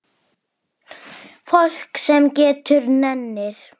Fólk sem getur og nennir.